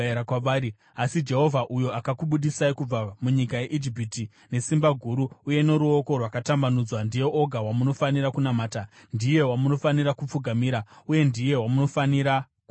Asi Jehovha uyo akakubudisai kubva munyika yeIjipiti nesimba guru uye noruoko rwakatambanudzwa, ndiye oga wamunofanira kunamata. Ndiye wamunofanira kupfugamira uye ndiye wamunofanira kupa zvibayiro.